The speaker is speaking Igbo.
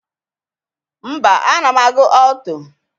Mba, ana m agụ ọlto.